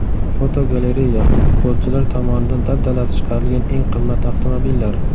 Fotogalereya: Futbolchilar tomonidan dabdalasi chiqarilgan eng qimmat avtomobillar.